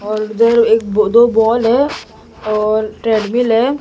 और एक दो बाल है और ट्रेडमिल है।